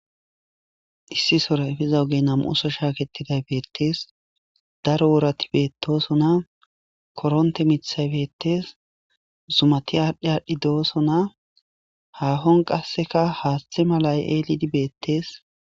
Issisora diza oogey nam'uso shaakettidayssi beetes daro wooratti bettossonna korontte miiththay bettes zummati adhi adhi bettes hahon qasekka haaththe malay eellidi beettes